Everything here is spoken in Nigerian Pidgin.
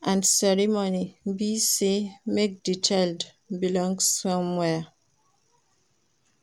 and ceremony be say make di child belong somewhere